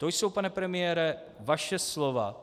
To jsou, pane premiére, vaše slova.